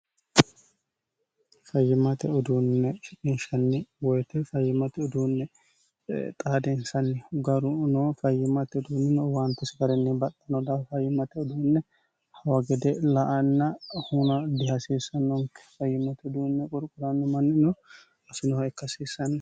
fayyimate uduunne shiqinshanni woyite fayyimate uduunne xaadeensanni garu no fayyimate uduunni no owaantesi garinni baxxano daafo fayyimate uduunne hawa gede la'anna hunnanna dihasiissannonke fayyimate uduunne qurquranno manni no afinoha ikka hasiissanno.